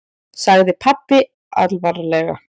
sagði pabbi alvarlega.